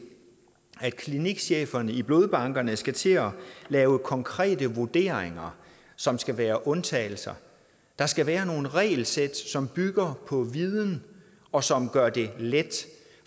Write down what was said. at klinikcheferne i blodbankerne skal til at lave konkrete vurderinger som skal være undtagelser der skal være nogle regelsæt som bygger på viden og som gør det let